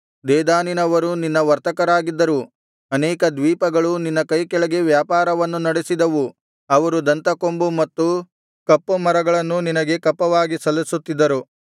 ದೇದಾನಿನವರು ನಿನ್ನ ವರ್ತಕರಾಗಿದ್ದರು ಅನೇಕ ದ್ವೀಪಗಳು ನಿನ್ನ ಕೈಕೆಳಗೆ ವ್ಯಾಪಾರವನ್ನು ನಡೆಸಿದವು ಅವರು ದಂತ ಕೊಂಬು ಮತ್ತು ಕಪ್ಪುಮರಗಳನ್ನೂ ನಿನಗೆ ಕಪ್ಪವಾಗಿ ಸಲ್ಲಿಸುತ್ತಿದ್ದರು